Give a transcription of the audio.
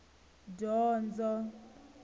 dyondzo